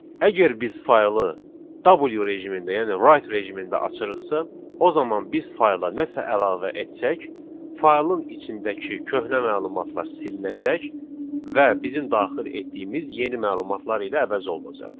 Əgər biz faylı W rejimində, yəni write rejimində açırıqsa, o zaman biz fayla nəsə əlavə etsək, faylın içindəki köhnə məlumatlar silinəcək və bizim daxil etdiyimiz yeni məlumatlar ilə əvəz olunacaq.